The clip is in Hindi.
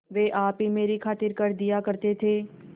वे आप ही मेरी खातिर कर दिया करते थे